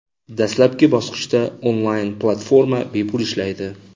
Dastlabki bosqichda onlayn platforma bepul ishlaydi.